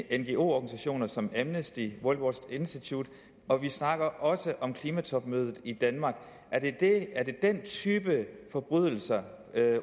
ngo organisationer som amnesty worldwatch institute og vi snakker også om klimatopmødet i danmark er det den type forbrydelser